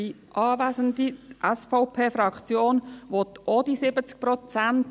Die SVP-Fraktion will auch die 70 Prozent.